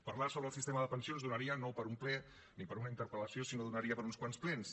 parlar sobre el sistema de pensions donaria no per a un ple ni per a una interpel·lació sinó que donaria per a uns quants plens